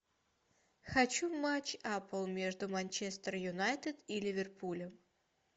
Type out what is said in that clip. хочу матч апл между манчестер юнайтед и ливерпулем